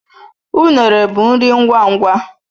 Unere bụ nri ngwa ngwa.